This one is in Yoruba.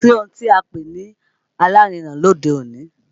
Kò sí ohun tí à ń pè ní alárinà lóde òní